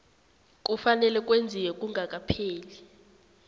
kufanele kwenziwe kungakapheli